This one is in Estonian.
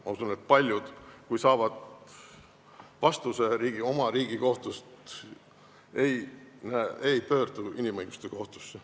Ma usun, et paljud, kui nad saavad vastuse oma riigi kohtust, ei pöördu inimõiguste kohtusse.